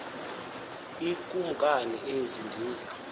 iikumkani ezi ndiza